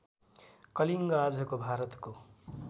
कलिङ्ग आजको भारतको